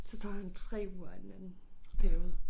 Så tager han 3 uger af den anden periode